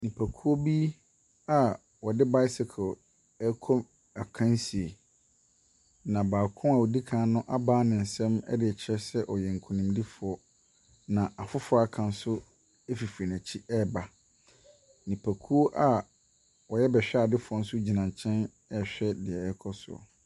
Nnipakuo bi a ɔde bicycle ɛrekɔ akansie. Na baako a ɔdi kan no abaa ne sam ɛdekyerɛ sɛ ɔyɛ nkunimdifoɔ. Na afoforɔ aka nso efifiri n'akyi reba. Nnipakuo a ɔyɛ bɛhwɛadefoɔ nso gyina kyɛn ɛrehwɛ nea ɛrekɔ so no.